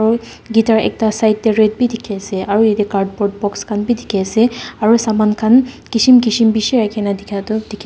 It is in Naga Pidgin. aru guitar ekta side teh red bhi dikhi ase aru yate cardboard box khan bhi dikhi ase aru saman khan kism kism bishi rakhi na dikha tu dikhe a--